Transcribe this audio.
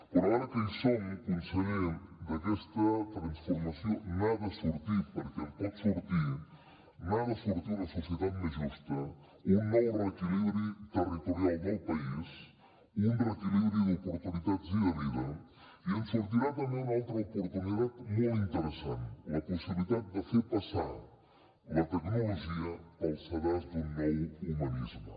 però ara que hi som conseller d’aquesta transformació n’ha de sortir perquè en pot sortir una societat més justa un nou reequilibri territorial del país un reequilibri d’oportunitats i de vida i en sortirà també una altra oportunitat molt interessant la possibilitat de fer passar la tecnologia pel sedàs d’un nou humanisme